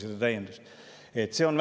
See on väga tõsine oht.